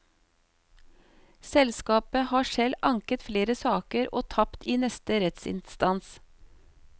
Selskapet har selv anket flere saker og tapt i neste rettsinstans.